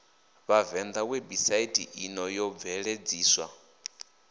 vhavenḓa webusaithi ino yo bveledziswa